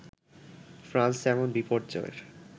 France এমন বিপর্যয়ের